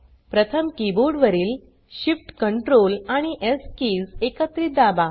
प्रथम कीबोर्ड वरील shift ctrl आणि स् किज एकत्रित दाबा